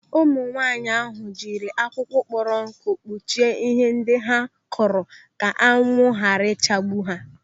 Ụmụ nwaanyị ahụ jiri akwụkwọ kpọrọ nkụ kpuchie ihe ndị ha kụrụ ka anwụ ghara ichagbu ha.